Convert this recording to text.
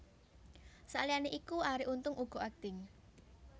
Saliyané iku Ari Untung uga akting